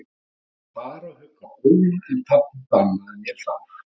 Ég vildi fara og hugga Óla, en pabbi bannaði mér það.